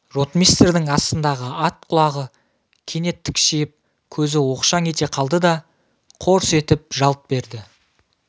ротмистрдің астындағы ат құлағы кенет тікшиіп көзі оқшаң ете қалды да қорс етіп жалт берді